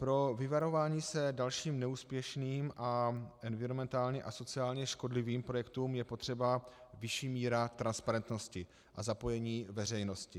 Pro vyvarování se dalším neúspěšným a environmentálně a sociálně škodlivým projektům je potřeba vyšší míra transparentnosti a zapojení veřejnosti.